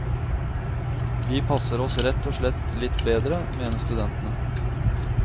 Vi passer oss rett og slett litt bedre, mener studentene.